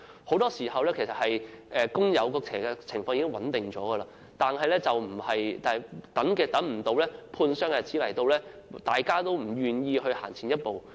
很多時候，工友的情況已經穩定，但未到判傷之日大家都不願意行前一步。